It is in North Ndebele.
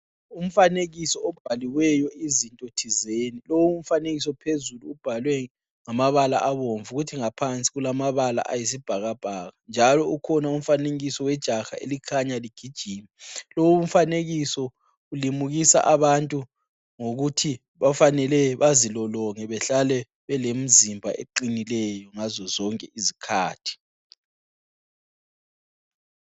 Umfanekiso obhaliweyo izinto thizeni lowu mfanekiso phezulu ubhalwe ngamabala obomvu kuthi ngaphansi kulamabala ayisibhakabhaka njalo ukhona umfanekiso wejaha elikhanya ligijima. Lowu umfanekiso ulimukisa abantu ngokuthi bafanele bazilolonge behlale belemzimba eqinileyo ngazo zonke izikhathi.